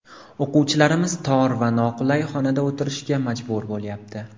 O‘quvchilarimiz tor va noqulay xonada o‘tirishga majbur bo‘lyapti.